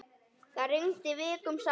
Það rigndi vikum saman.